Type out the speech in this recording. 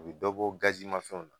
O be dɔ bɔ gazi ma fɛnw na